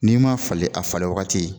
N'i m'a falen a falen wagati